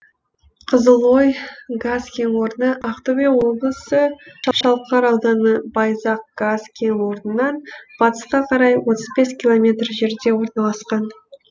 қызылой газ кен орны ақтөбе облысы шалқар ауданы байзақ газ кен орнынан батысқа қарай отыз бес километр жерде орналасқан